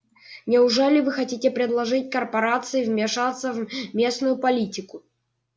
неужели вы хотите предложить корпорации вмешаться в местную политику